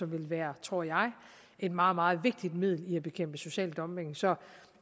vil være tror jeg et meget meget vigtigt middel til at bekæmpe social dumping så